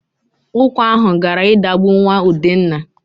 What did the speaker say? Ụkwa ahụ gara idagbu nwa Udenna.